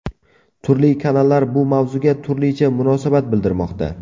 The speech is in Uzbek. Turli kanallar bu mavzuga turlicha munosabat bildirmoqda.